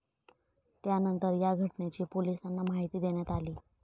त्यानंतर या घटनेची पोलिसांना माहिती देण्यात आली.